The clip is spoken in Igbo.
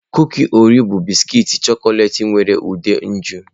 Kuki Oreo bụ bisikiiti chọkọleti nwere ude nju